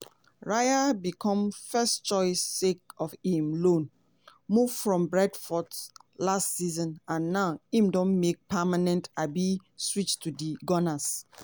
raya become first choice sake of im loan move from brentford last season and now im don make permanent um switch to di gunners.